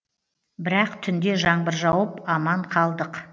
бірақ түнде жаңбыр жауып аман қалдық